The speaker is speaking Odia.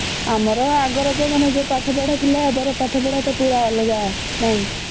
ଆମର ଆଗର ଯୋଉ ପାଠ ପଢା ଥିଲା ଏବେ ର ପାଠ ପଢା ତ ପୁରା ଅଲଗା ନାଇଁ